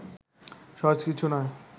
সহজ কিছু নয়